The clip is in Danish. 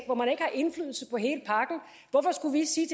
hvor man ikke har indflydelse på hele pakken hvorfor skulle vi sige